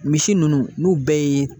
Misi nunnu n'u bɛɛ ye